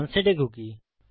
আনসেট a cookie